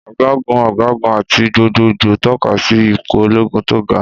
Ọ̀gágun, ọ̀gágun, àti gbogbogbò tọ́ka sí ipò ológun tó ga.